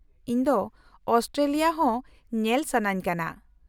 -ᱤᱧ ᱫᱚ ᱟᱥᱴᱨᱮᱞᱤᱭᱟ ᱦᱚᱸ ᱧᱮᱞ ᱥᱟᱹᱱᱟᱹᱧ ᱠᱟᱱᱟ ᱾